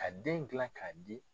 Ka den jilan ka di